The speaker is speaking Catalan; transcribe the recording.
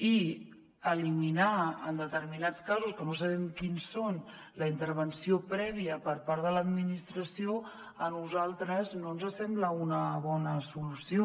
i eliminar en determinats casos que no sabem quins són la intervenció prèvia per part de l’administració a nosaltres no ens sembla una bona solució